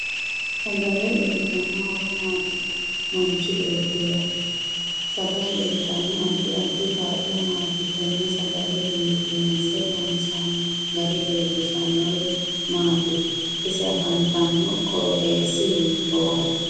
Sagale uyiitano horo maati manchi beetira sagale uyiitanno addi addi kaa'lo maati tenne sagale biifinse loonsooni gari leelishanori maati ise afantanno qoxeesi hiitooho